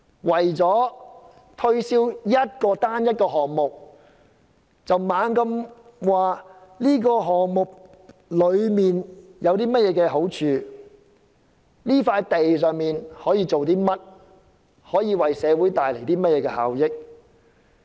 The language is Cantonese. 為了推銷單一個項目，不停地說該項目有多好，可以在那人工島興建甚麼，為社會帶來甚麼效益等。